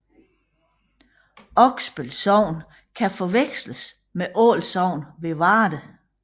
Oksbøl Sogn kan forveksles med Ål Sogn ved Varde